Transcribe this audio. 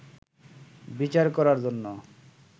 বিচার করার জন্য